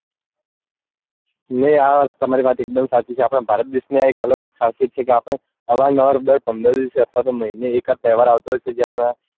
ને આ તમારી વાત એક દમ સાચી છે આપડા ભારત દેશ ની આ એક અલગ જ ખાસિયત છે કે આપડે અવારનવાર દર પંદર દિવસે અથવા તો મહીને એકાદ તહેવાર આવતો હોય છે જે આપણા